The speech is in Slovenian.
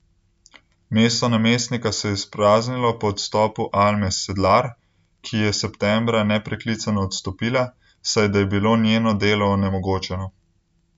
Mesto namestnika se je izpraznilo po odstopu Alme Sedlar, ki je septembra nepreklicno odstopila, saj da je bilo njeno delo onemogočeno.